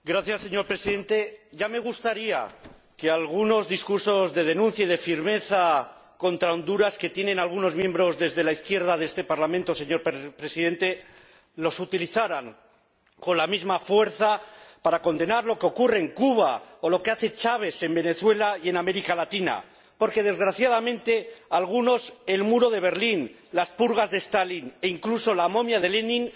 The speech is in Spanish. Señor Presidente, ya me gustaría que algunos discursos de denuncia y de firmeza contra Honduras de algunos miembros de la izquierda de este Parlamento fueran utilizados con la misma fuerza para condenar lo que ocurre en Cuba, o lo que hace Chávez en Venezuela y en América Latina, porque, desgraciadamente, algunos añoran y apoyan más el muro de Berlín, las purgas de Stalin e incluso la momia de Lenin